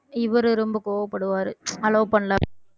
இவரு ரொம்ப கோவப்படுவாரு allow பண்ணல~